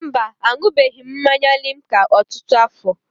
Mba, aṅụbeghị m mmanya limca ọtụtụ afọ.